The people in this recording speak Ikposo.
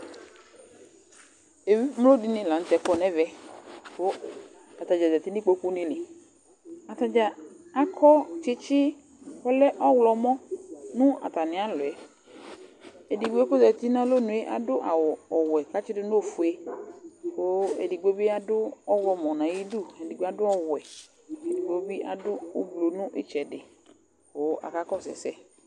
Evi emlo dɩnɩ la nʋ tɛ kɔ nʋ ɛvɛ kʋ ata dza zati nʋ ikpokunɩ li Ata dza akɔ tsɩtsɩ kʋ ɔlɛ ɔɣlɔmɔ nʋ atamɩ alɔ yɛ Edigbo yɛ kʋ ɔzati nʋ alɔnu yɛ adʋ afʋ ɔwɛ kʋ atsɩ dʋ nʋ ofue kʋ edigbo bɩ adʋ ɔɣlɔmɔ nʋ ayidu, edigbo adʋ ɔwɛ, edigbo bɩ adʋ ʋblʋ nʋ ɩtsɛdɩ kʋ akakɔsʋ ɛsɛ